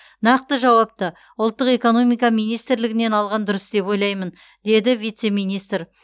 нақты жауапты ұлттық экономика министрлігінен алған дұрыс деп ойлаймын деді вице министр